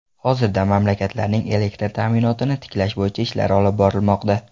Hozirda mamlakatlarning elektr ta’minotini tiklash bo‘yicha ishlar olib borilmoqda.